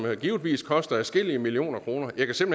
givetvis koster adskillige millioner kroner jeg kan